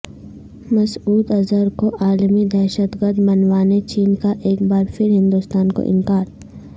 مسعود اظہر کو عالمی دہشت گرد منوانے چین کا ایک بار پھر ہندوستان کو انکار